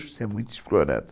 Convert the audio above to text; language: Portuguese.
você é muito explorado.